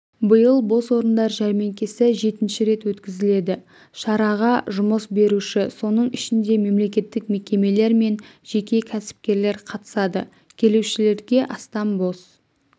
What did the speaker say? биыл бос орындар жәрмеңкесі жетінші рет өткізіледі шараға жұмыс беруші соның ішінде мемлекеттік мекемелер мен жеке кәсіпкерлер қатысады келушілерге астам бос